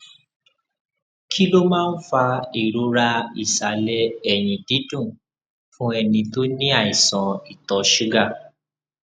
kí ló máa ń fa ìrora ìsàlẹ ẹyìn dídùn fún ẹni tó ní àìsàn ìtọ ṣúgà